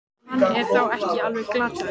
Hann er þá ekki alveg glataður!